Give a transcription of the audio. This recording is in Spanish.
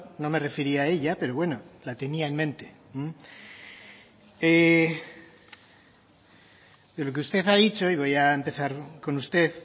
no me refería a ella pero bueno la tenía en mente pero lo que usted ha dicho y voy a empezar con usted